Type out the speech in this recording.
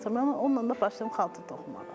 Vəssalam, mən onunla da başladım xalça toxumağa.